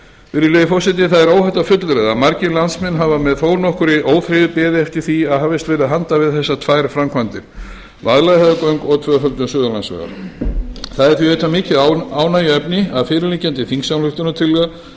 virðulegi forseti það er óhætt að fullyrða að margir landsmenn hafa með nokkurri óþreyju beðið eftir því að hafist verði handa við þessar tvær framkvæmdir vaðlaheiðargöng og tvöföldun suðurlandsvegar það er því auðvitað mikið ánægjuefni að fyrirliggjandi þingsályktunartillaga